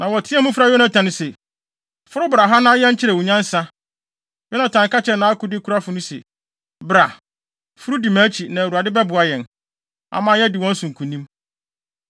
Na wɔteɛɛ mu frɛɛ Yonatan se, “Foro bra ha na yɛnkyerɛ wo nyansa!” Yonatan ka kyerɛɛ nʼakodekurafo no se, “Bra; foro di mʼakyi na Awurade bɛboa yɛn, ama yɛadi wɔn so nkonim.”